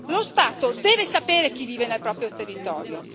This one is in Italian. Lo Stato deve sapere chi vive nel proprio territorio.